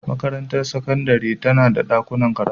Makarantar sakandare tana da dakunan karatu.